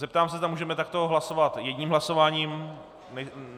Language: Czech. Zeptám se, zda můžeme takto hlasovat jedním hlasováním.